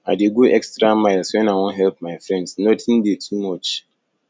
i dey go extra miles wen i wan help my friends notin dey too much